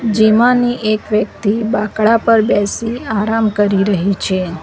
જેમાંની એક વ્યક્તિ બાકડા પર બેસી આરામ કરી રહી છે.